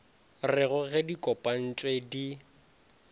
rego ge di kopantpwe di